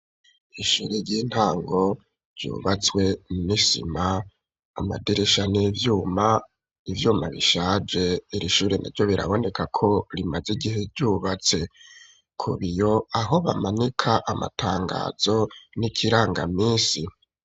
Ishuri ry'intango, ryubatswe n'isima; amadirisha ni ivyuma, ivyuma bishaje, iri shuri na ryo, biraboneka ko, rimaze igihe ryubatse; ku biyo, aho bamanika amatangazo, n'ikirangaminsi.